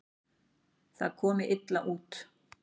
Það komi illa út.